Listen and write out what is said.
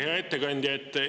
Hea ettekandja!